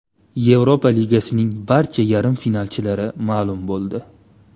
Yevropa Ligasining barcha yarim finalchilari ma’lum bo‘ldi.